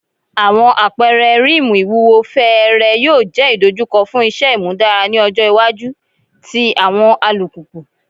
Awọn apẹrẹ rim iwuwo fẹẹrẹ yoo jẹ idojukọ fun iṣẹ imudara ni ọjọ iwaju ti awọn alupupu